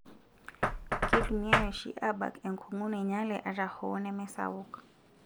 keitumiyai oshi aabak enkungu nainyale ata hoo neme sapuk .